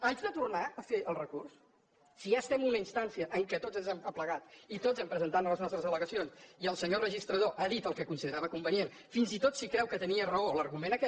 haig de tornar a fer el recurs si ja estem en una instància en què tots ens hem aplegat i tots hem presentat les nostres al·legacions i el senyor registrador ha dit el que considerava convenient fins i tot si creu que tenia raó l’argument aquest